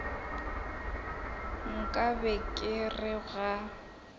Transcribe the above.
nka be ke re ga